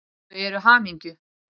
Þau eru hamingju